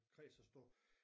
Kreds er stor